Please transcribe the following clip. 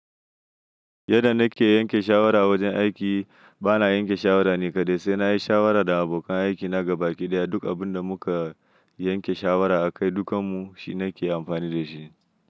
Yadda na ke yanke shawara a wajen aiki, ba na yanke shawara ni kaɗai, sai na yi shawara da abokan aikina gabaki ɗaya. Duk abin da mu ka yanke shawara a kai dukanmu, shi na ke amfani da shi.